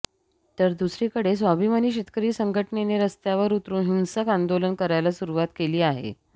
तर दुसरीकडे स्वाभिमानी शेतकरी संघटनेने रस्त्यावर उतरून हिंसक आंदोलन करायला सुरुवात केली आहे